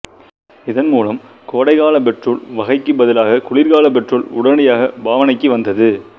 இதன்மூலம் கோடைகால பெட்ரோல் வகைக்குப் பதிலாக குளிர்கால பெட்ரோல் உடனடியாக பாவனைக்கு வந்தது